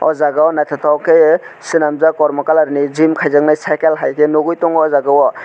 aw jaaga o nythotok ke swnamjak kormo kalar ni gym kaijaknai cycle hai ke nugui tongo aw jaaga o.